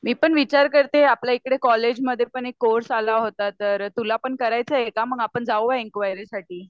मी पण विचार करतेय आपल्याइकडे कॉलेजमध्ये पण एक कोर्स आला होता तर तुला पण करायचा आहे का आपण जाऊया एन्क्वायरी साठी.